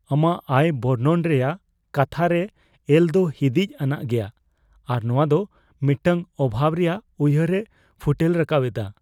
ᱟᱢᱟᱜ ᱟᱭ ᱵᱚᱨᱱᱚᱱ ᱨᱮᱭᱟᱜ ᱠᱟᱛᱷᱟ ᱨᱮ ᱮᱞ ᱫᱚ ᱦᱤᱸᱫᱤᱡ ᱟᱱᱟᱜ ᱜᱮᱭᱟ, ᱟᱨ ᱱᱚᱶᱟ ᱫᱚ ᱢᱤᱫᱴᱟᱝ ᱚᱵᱷᱟᱵᱽ ᱨᱮᱭᱟᱜ ᱩᱭᱦᱟᱹᱨ ᱮ ᱯᱷᱩᱴᱮᱞ ᱨᱟᱠᱟᱵ ᱮᱫᱟ ᱾